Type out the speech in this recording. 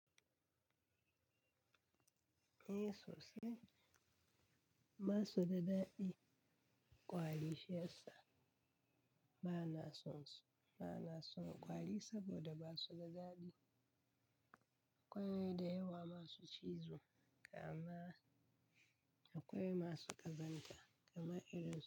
Eh sosai, basu da daɗi ƙwari shi ya sa ba na son so, ba na son ƙwari saboda ba su da daɗi, akwai da yawa ma su cizo, kamar akwai masu ƙazanta kamar irin su.